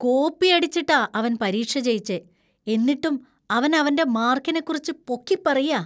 കോപ്പിയടിച്ചിട്ടാ അവൻ പരീക്ഷ ജയിച്ചേ, എന്നിട്ടും അവൻ അവന്‍റെ മാർക്കിനെക്കുറിച്ച് പൊക്കിപ്പറയാ.